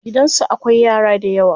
Gidansu akwai yara dayawa.